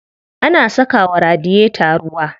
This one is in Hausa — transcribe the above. Ana saka wa radiyeta ruwa.